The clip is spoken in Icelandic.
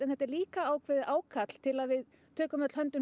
þetta er ákveðið ákall til að við tökum öll höndum